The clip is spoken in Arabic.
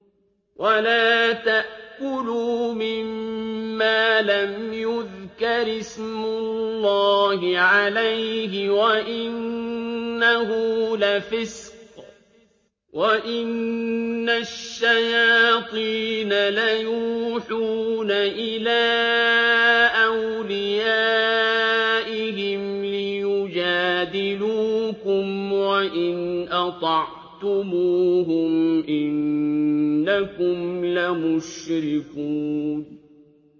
وَلَا تَأْكُلُوا مِمَّا لَمْ يُذْكَرِ اسْمُ اللَّهِ عَلَيْهِ وَإِنَّهُ لَفِسْقٌ ۗ وَإِنَّ الشَّيَاطِينَ لَيُوحُونَ إِلَىٰ أَوْلِيَائِهِمْ لِيُجَادِلُوكُمْ ۖ وَإِنْ أَطَعْتُمُوهُمْ إِنَّكُمْ لَمُشْرِكُونَ